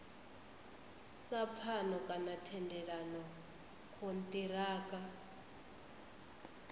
sa pfano kana thendelano kontiraka